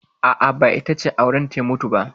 Ba, ita ce aurenta ya mutu ba.